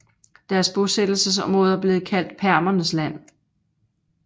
Deres bosættelsesområder blev kaldt permernes land